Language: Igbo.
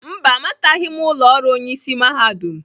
Mba, amataghị m ụlọ ọrụ Onye ịsị mahadum.